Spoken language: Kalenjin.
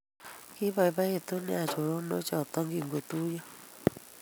Kiboboitu neya choronok choto kingotuiyo